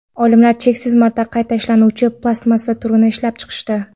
Olimlar cheksiz marta qayta ishlanuvchi plastmassa turini ishlab chiqishdi.